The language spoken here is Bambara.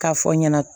K'a fɔ n ɲɛna